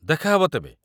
ଦେଖାହେବ ତେବେ।